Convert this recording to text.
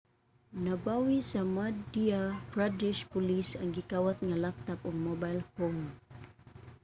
nabawi sa madhya pradesh police ang gikawat nga laptop ug mobile phone